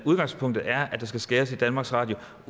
udgangspunktet er at der skal skæres i danmarks radio